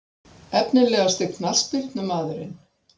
Efnilegasti knattspyrnumaðurinn?